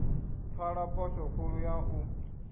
pfala phosho khulu ya u